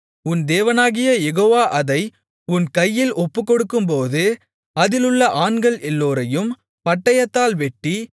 உன் தேவனாகிய யெகோவா அதை உன் கையில் ஒப்புக்கொடுக்கும்போது அதிலுள்ள ஆண்கள் எல்லோரையும் பட்டயத்தால் வெட்டி